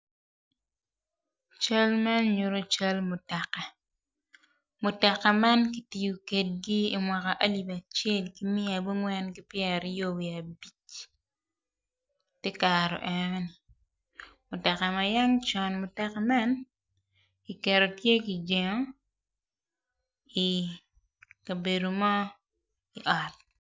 Cal man nyuto cal mutoka. Mutoka man kitiyo kwedgi imwaka alip acel ki mia abongwen ki pyer aryo wiye abic iye kare enoni mutoka ma yang con mutoka man kiketo tye kijengo ikabedo mo i ot.